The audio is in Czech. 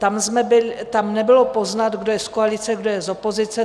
Tam nebylo poznat, kdo je z koalice, kdo je z opozice.